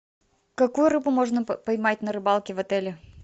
какую рыбу можно поймать на рыбалке в отеле